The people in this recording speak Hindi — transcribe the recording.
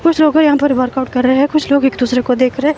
कुछ लोग यहां पर वर्कआउट कर रहे हैं कुछ लोग एक दूसरे को देख रहे हैं।